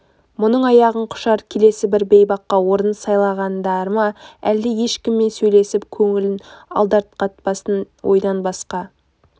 мұның аяғын құшар келесі бір бейбаққа орын сайлағандары ма әлде ешкіммен сөйлесіп көңілін алдарқатпасын ойдан басқа